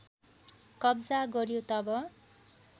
कब्जा गर्‍यो तब